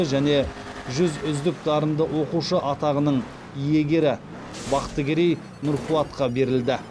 және жүз үздік дарынды оқушы атағының иегері бақтыгерей нұрфуатқа берілді